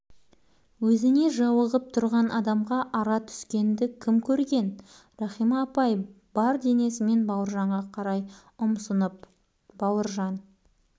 өзіне жауығып тұрған адамға ара түскеңді кім көрген рахима апай бар денесімен бауыржанға қарай ұмсынып бауыржан